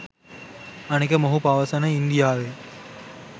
අනෙක මොහු පවසන ඉන්දියාවේ